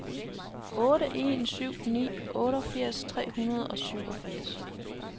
otte en syv ni otteogfirs tre hundrede og syvogfirs